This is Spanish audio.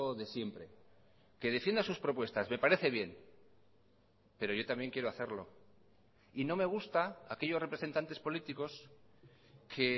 de siempre que defienda sus propuestas me parece bien pero yo también quiero hacerlo y no me gusta aquellos representantes políticos que